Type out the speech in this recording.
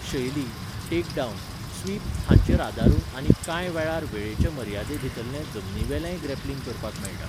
शैली, take down, sweep हांचेर आदारून आनी कांय वेळार वेळेचे मर्यादेभितरलें जमनीवेलेंय ग्रॅप्लिंग करपाक मेळटा.